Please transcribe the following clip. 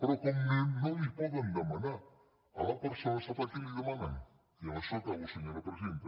però com que no li ho poden demanar a la persona sap a qui li ho demanen i amb això aca·bo senyora presidenta